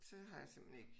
Så har jeg simpelthen ikke